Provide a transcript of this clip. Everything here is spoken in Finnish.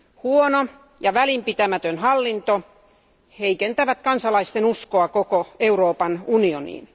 Huono ja välinpitämätön hallinto heikentävät kansalaisten uskoa koko Euroopan unioniin.